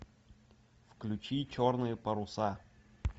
включи черные паруса